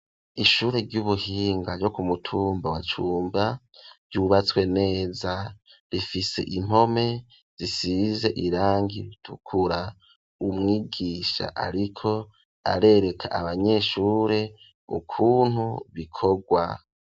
Ishure ry'ubuhinga ryo kumutumba wa cumba ryubatswe neza rifise impome zisize irangi ritukura umwigisha ariko arereka abanyeshure ukuntu bikogwa.